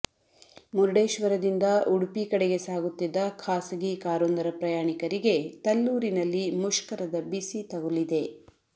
ಮುರ್ಡೇ ಶ್ವರದಿಂದ ಉಡುಪಿ ಕಡೆಗೆ ಸಾಗುತ್ತಿದ್ದ ಖಾಸಗಿ ಕಾರೊಂದರ ಪ್ರಯಾಣಿಕರಿಗೆ ತಲ್ಲೂರಿನಲ್ಲಿ ಮುಷ್ಕರದ ಬಿಸಿ ತಗುಲಿದೆ